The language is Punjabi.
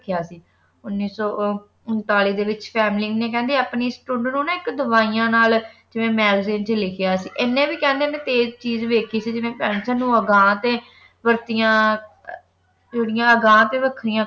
ਕਹਾ ਸੇ ਉਨੀ ਸੋ ਉਨ੍ਤਾਲਿਸ ਦੇ ਵਿਚ ਫ੍ਹ੍ਲੇਮਿੰਗ ਨੀ ਕੇਹੰਡੀ ਆਪਣੀ ਨਾ ਆਇਕ ਦਾਵਿਯਾਂ ਨਾਲ magazine ਦੇ ਵਿਚ ਲਿਖਯਾ ਸੇ ਇਨੀ ਵੇ ਕਹਿੰਦੇ ਨੀ ਤੀਜ਼ ਚੀਜ਼ ਦੇਖੀ ਜਿਨੀ